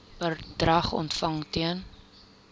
bedrag ontvang ten